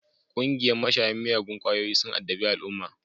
Ƙungiyan mashayan miyagun kwayoyin sun addabi al'umma